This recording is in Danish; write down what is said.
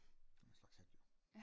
en slags hat jo